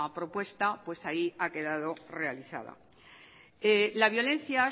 propuesta ahí ha quedado realizada la violencia